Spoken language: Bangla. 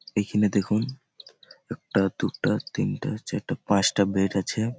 এখানে দেখুন একটা দুটা তিনটা চারটা পাঁচটা বেড আছে।